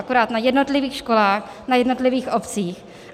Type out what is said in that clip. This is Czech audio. Akorát na jednotlivých školách na jednotlivých obcích.